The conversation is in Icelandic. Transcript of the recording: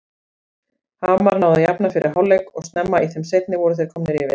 Hamar náði að jafna fyrir hálfleik og snemma í þeim seinni voru þeir komnir yfir.